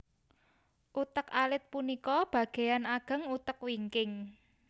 Utek alit punika bagéan ageng utek wingking